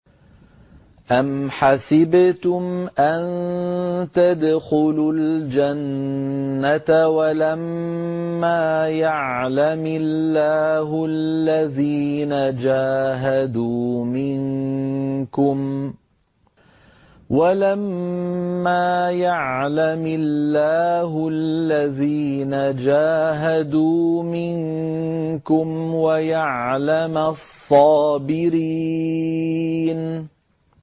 أَمْ حَسِبْتُمْ أَن تَدْخُلُوا الْجَنَّةَ وَلَمَّا يَعْلَمِ اللَّهُ الَّذِينَ جَاهَدُوا مِنكُمْ وَيَعْلَمَ الصَّابِرِينَ